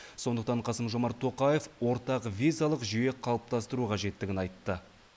сондықтан қасым жомарт тоқаев ортақ визалық жүйе қалыптастыру қажеттігін айтты